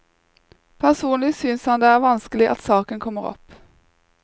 Personlig synes han det er vanskelig at saken kommer opp.